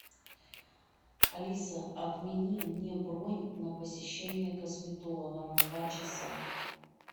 алиса отмени мне бронь на посещение косметолога на два часа